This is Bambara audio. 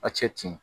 A cɛ tin